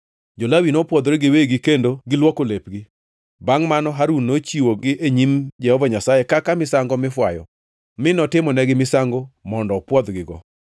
Jo-Lawi nopwodhore giwegi kendo negiluoko lepgi. Bangʼ mano Harun nochiwogi e nyim Jehova Nyasaye kaka misango mifwayo mi notimonegi misango mondo opwodhgigo.